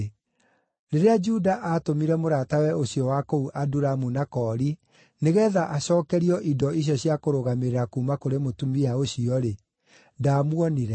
Rĩrĩa Juda atũmire mũratawe ũcio wa kũu Adulamu na koori nĩgeetha acookerio indo icio cia kũrũgamĩrĩra kuuma kũrĩ mũtumia ũcio-rĩ, ndaamuonire.